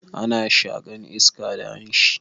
Ana shaƙan iska da hanshi.